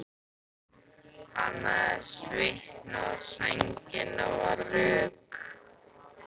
Hann hafði svitnað og sængin var rök.